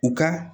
U ka